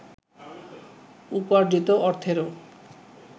উপার্জিত অর্থেরও